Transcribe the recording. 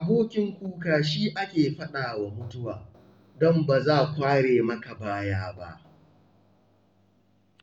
Abokin kuka shi ake faɗawa mutuwa, don ba za kware maka baya ba.